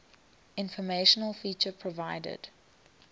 informational feature provided